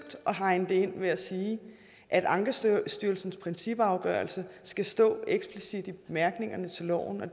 at hegne det ind ved at sige at ankestyrelsens principafgørelse skal stå eksplicit i bemærkningerne til loven og